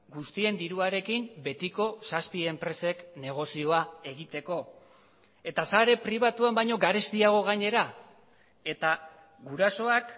guztien diruarekin betiko zazpi enpresek negozioa egiteko eta sare pribatuan baino garestiago gainera eta gurasoak